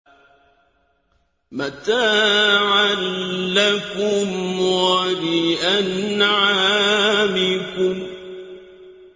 مَّتَاعًا لَّكُمْ وَلِأَنْعَامِكُمْ